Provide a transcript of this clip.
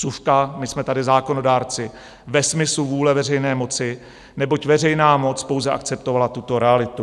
Vsuvka, my jsme tady zákonodárci ve smyslu vůle veřejné moci, neboť veřejná moc pouze akceptovala tuto realitu.